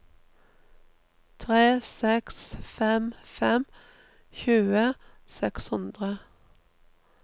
tre seks fem fem tjue seks hundre